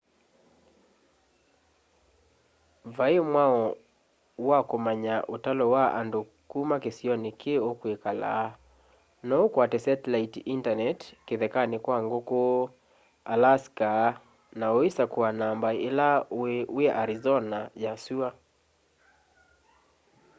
vai mwao wa kumanya utalo wa nadu kuma kisioni ki ukwikala no ukwate satellite internet kithekani kwa nguku alaska na uisakua namba ila ui wi arizona ya sua